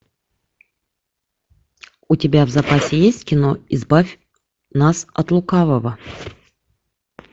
у тебя в запасе есть кино избавь нас от лукавого